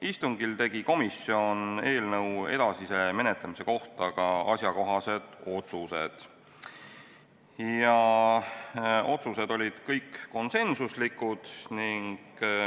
Istungil tegi komisjon eelnõu edasise menetlemise kohta ka asjakohased otsused ja need olid kõik konsensuslikud.